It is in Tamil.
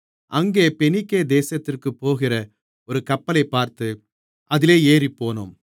அங்கே பெனிக்கே தேசத்திற்குப் போகிற ஒரு கப்பலைப் பார்த்து அதிலே ஏறிப்போனோம்